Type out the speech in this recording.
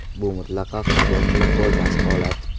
Bu mutlaqo qabul qilib bo‘lmas holat.